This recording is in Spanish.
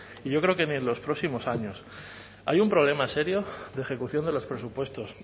y yo creo que ni en los próximos años hay un problema serio de ejecución de los presupuestos